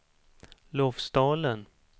Lofsdalen